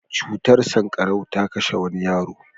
Cutar sanƙarau ta kashe wani yaro.